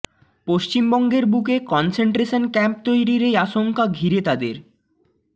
পশ্চিমবঙ্গের বুকে concentration camp তৈরির এই আশঙ্কা ঘিরে তাদের